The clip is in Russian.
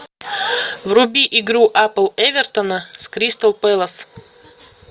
вруби игру апл эвертона с кристал пэлас